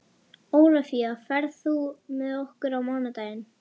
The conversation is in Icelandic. Ólafía, ferð þú með okkur á mánudaginn?